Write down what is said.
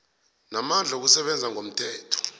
namandla wokusebenza ngomthetho